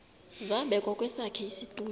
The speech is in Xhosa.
zabekwa kwesakhe isitulo